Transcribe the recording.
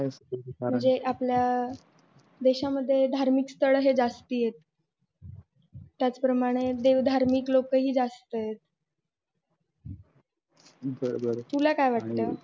म्हणजे आपल्या देशामध्ये धार्मिक स्थळ हे जास्ती आहेत त्याचप्रमाणे देव धार्मिक लोक हि जास्त आहेत तुला काय वाटत